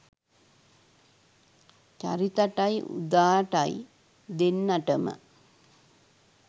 චරිතටයි උදාටයි දෙන්නටම